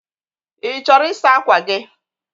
Ị chọrọ ịsa ákwà gị?